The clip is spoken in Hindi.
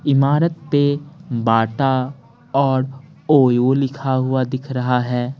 इमारत पे बाटा और ओयो लिखा हुआ दिख रहा है।